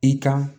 I kan